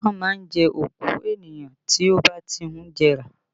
Ìkan máa ń jẹ́ òkú ènìyàn tí ó bá ti ń jẹrà